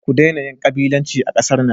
Ku daina yin kabilanci a kasar nan.